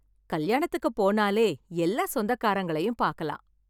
கல்யாணத்துக்கு போனாலே எல்லா சொந்தக்காரங்களையும் பார்க்கலாம்.